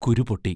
കുരു പൊട്ടി!